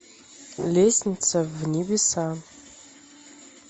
лестница в небеса